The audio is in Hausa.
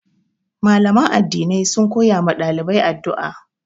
Mallaman addinai sun koya ma ɗalibai addu'a.